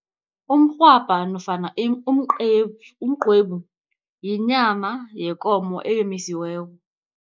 Umrhwabha nofana umqwebu yinyama yekomo eyomisiweko.